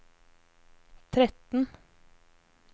tretten